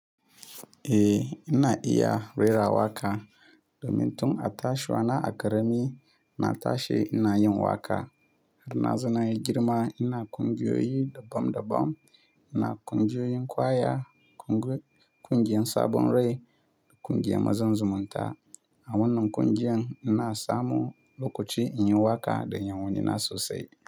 Eh, ina iya rera waƙa. Do min tun a tashiwa na a ƙarami na tashi ina yin waƙa. Har na zauna yi girma ina ƙungiyoyi daban daban. Ina ƙungiyoyin kwaya, ƙungiyan sabon rai da ƙungiyan mazan zumunta. A wannan ƙungiyan ina samu lokaci in yi waƙa da yawanni na sosai.